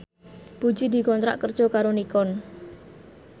Puji dikontrak kerja karo Nikon